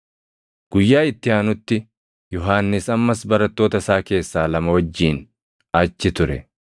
Guyyaa itti aanutti Yohannis ammas barattoota isaa keessaa lama wajjin achi ture.